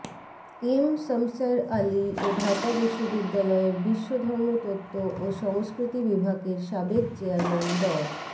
M Shamsher Ali ও ঢাকা বিশ্ববিদ্যালয়ের বিশ্বধর্মতত্ত্ব ও সংস্কৃতি বিভাগের সাবেক চেয়ারম্যান ড